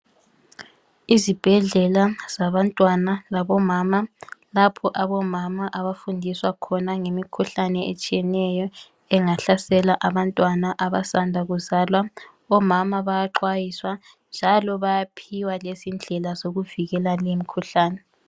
Izibhedlela zabantwana labomama lapho abomama abafundiswa khona ngemikhuhlane etshiyeneyo engahlasela abantwana abasanda kuzwala omama bayaxwayiswa njalo bayaphiwa lendlela zokuvikela lewo mkhuhlane